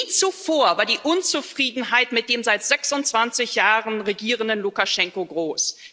Nie zuvor war die Unzufriedenheit mit dem seit 26 Jahren regierenden Lukaschenka so groß.